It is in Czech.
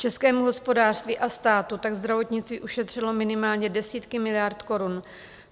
Českému hospodářství a státu tak zdravotnictví ušetřilo minimálně desítky miliard korun.